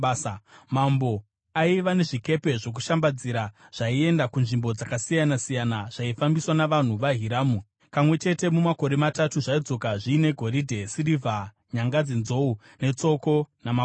Mambo aiva nezvikepe zvokushambadzira zvaienda kunzvimbo dzakasiyana-siyana zvaifambiswa navanhu vaHiramu. Kamwe chete mumakore matatu zvaidzoka zviine goridhe, sirivha, nyanga dzenzou netsoko namakudo.